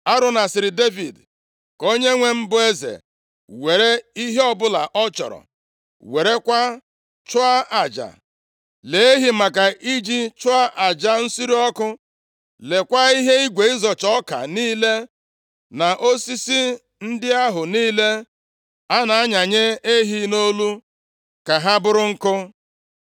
Arauna sịrị Devid, “Ka onyenwe m, bụ eze were ihe ọbụla ọ chọrọ, werekwa chụọ aja. Lee ehi maka iji chụọ aja nsure ọkụ, leekwa ihe igwe ịzọcha ọka niile, na osisi ndị ahụ niile a na-anyanye ehi nʼolu, + 24:22 Lit. yoku ka ha bụrụ nkụ.